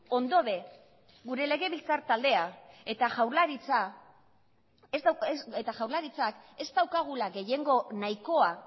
ondo be gure legebiltzar taldea eta jaurlaritzak ez daukagula gehiengo nahikoa